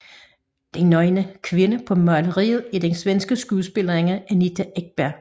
Den nøgne kvinde på maleriet er den svenske skuespiller Anita Ekberg